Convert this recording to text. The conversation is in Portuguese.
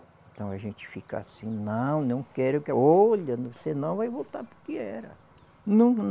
Então a gente fica assim, não, não quero, que olha, senão vai voltar para o que era.